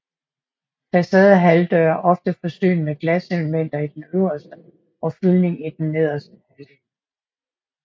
Facadehalvdøre er ofte forsynet med glaselemter i den øverste og fyldning i den nederste halvdel